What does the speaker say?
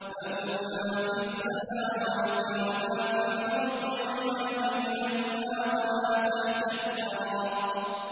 لَهُ مَا فِي السَّمَاوَاتِ وَمَا فِي الْأَرْضِ وَمَا بَيْنَهُمَا وَمَا تَحْتَ الثَّرَىٰ